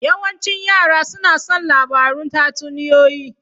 Yawancin yara suna son labarun tatsuniyoyi.